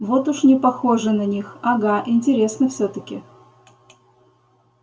вот уж не похоже на них ага интересно всё-таки